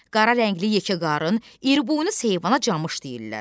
Qara rəngli yekə qarın, iriboynuz heyvana camış deyirlər.